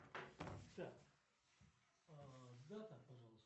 так дата пожалуйста